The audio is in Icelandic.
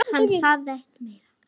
Hann sagði ekki meira.